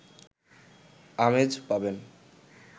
আমেজ পাবেন